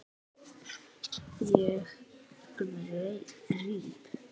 Ég gríp.